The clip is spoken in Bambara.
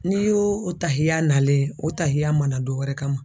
N'i y'o o tahilya nalen o tahiya mana dɔ wɛrɛ kama